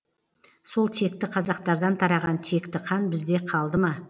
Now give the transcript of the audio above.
сол текті қазақтардан тараған текті қан бізде қалдыма